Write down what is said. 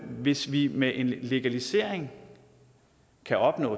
hvis vi med en legalisering kan opnå